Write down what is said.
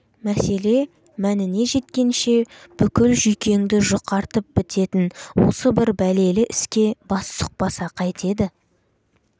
мәселе мәніне жеткенше бүкіл жүйкеңді жұқартып бітетін осы бір бәлелі іске бас сұқпаса қайтеді